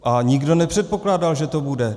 A nikdo nepředpokládal, že to bude.